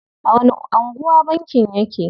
A wani anguwa bankin yake?